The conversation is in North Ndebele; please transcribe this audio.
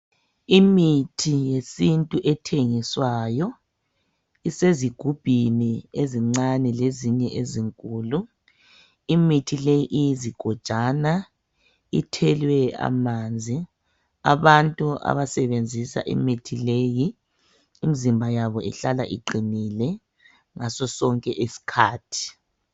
Imithi yesintu ethengiswayo, isezigubhini ezincane lezinye ezinkulu. Imithi le iyizigojana ithelwe amanzi. Abantu abasebenzisa imithi leyi imizimba yabo ihlala iqinile ngasosonke isikhathi.